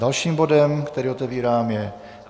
Dalším bodem, který otevírám, je